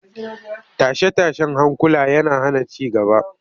Tashe-tashen hankula yana hana ci gaba